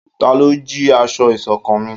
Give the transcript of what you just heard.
Talọ́ jí aṣọ iṣọ̀kan mí?